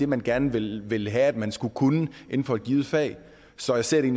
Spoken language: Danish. man gerne vil vil have at vi skal kunne inden for et givet fag så jeg ser det